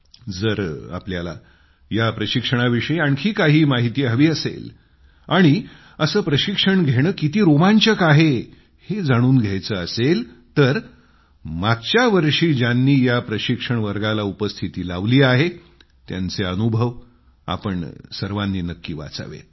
जर तुम्हाला या प्रशिक्षणाविषयी आणखी काही माहिती हवी असेल आणि असे प्रशिक्षण घेणे किती रोमांचक आहे हे जाणून घ्यायचं असेल तर मागच्यावर्षी ज्यांनी या प्रशिक्षण वर्गाला उपस्थिती लावली आहे त्यांचे अनुभव तुम्ही सर्वांनी नक्की वाचावेत